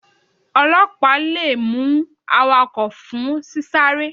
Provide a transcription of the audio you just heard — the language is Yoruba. Ọlọpa le mu awakọ fun sí sárè.